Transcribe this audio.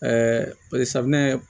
poli safinɛ